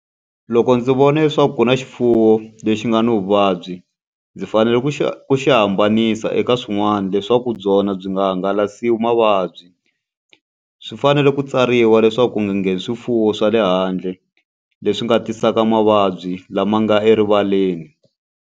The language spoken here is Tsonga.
Loko ndzi vona leswaku ku na xifuwo lexi nga ni vuvabyi, ndzi fanele ku xi ku xi hambanisa eka swin'wana leswaku byona byi nga hangalasiwa mavabyi. Swi fanele ku tsariwa leswaku ku nga ngheni swifuwo swa le handle, leswi nga tisaka mavabyi lama nga erivaleni.